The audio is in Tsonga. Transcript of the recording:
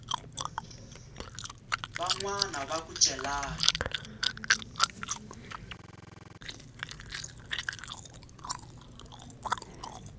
van wana va ku celani